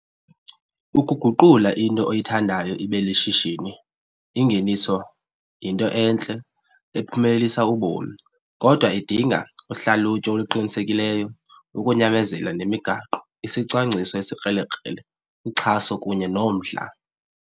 Ukuguqula into oyithandayo ibe lishishini ingeniso yinto entle ephumelelisa ubomi kodwa idinga uhlalutyo oluqinisekileyo, ukunyamezela nemigaqo, isicwangciso esikrelekrele, uxhaso kunye nomdla.